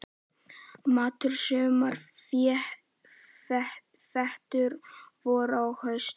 Matur: sumar, vetur, vor og haust.